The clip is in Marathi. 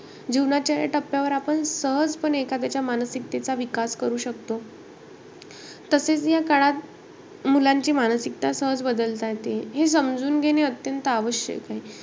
जीवनाच्या या टप्प्यावर आपण सहजपणे एखाद्याच्या मानसिकतेचा विकास करू शकतो. तसेचं या काळात मुलांची मानसिकता सहज बदलता येते. हे समजून घेणे अत्यंत आवश्यक आहे.